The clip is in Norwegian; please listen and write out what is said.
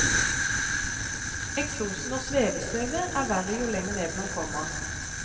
Eksosen og svevestøvet er verre jo lenger ned man kommer.